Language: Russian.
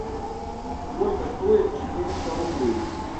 сколько стоит четыреста рублей